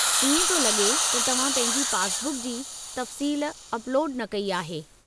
इएं पियो लॻे त तव्हां पंहिंजी पासबुक जी तफ़्सील अपलोडु न कई आहे।